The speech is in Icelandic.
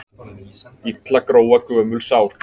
Illa gróa gömul sár.